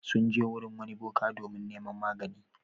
Sun je wurin wani boka domin neman magani.